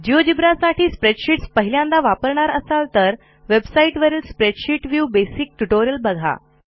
GeoGebra साठी spreadsheets पहिल्यांदा वापरणार असाल तर वेबसाईटवरील स्प्रेडशीट व्ह्यू बेसिक ट्युटोरियल बघा